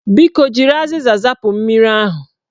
Biko, jiri azịza zapụ mmiri ahụ